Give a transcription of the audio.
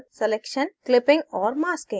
clipping और masking